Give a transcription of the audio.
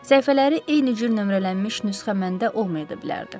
Səhifələri eyni cür nömrələnmiş nüsxə məndə olmaya da bilərdi.